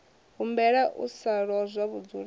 humbela u sa lozwa vhudzulapo